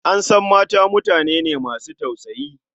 An san mata mutane ne masu tausayi.